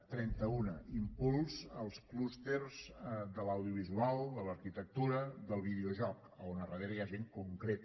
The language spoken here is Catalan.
trenta una impuls als clústers de l’audiovisual de l’arquitectura del videojoc on a darrere hi ha gent concreta